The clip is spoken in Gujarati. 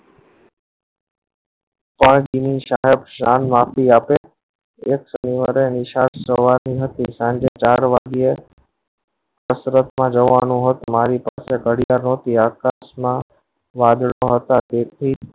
ઓન કેવી શાયદ સાંજ માં આપે એજ શનિવારે નિશાળ કરવાની હતી સાંજે ચાર વાગે કસરત માં જવાનું હતું મારી પાછળ હતું આકાશ માં વાદળ પણ હતા તેથી